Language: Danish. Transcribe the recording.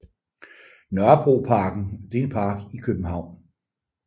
Nørrebroparken er en park i København